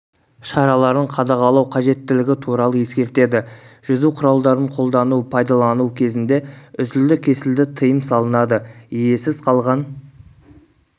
шараларын қадағалау қажеттілігі туралы ескертеді жүзу құралдарын қолдану пайдалану кезінде үзілді-кесілді тыйым салынады иесіз қалған